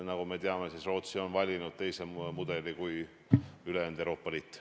Nagu me teame, Rootsi on valinud teise mudeli kui ülejäänud Euroopa Liit.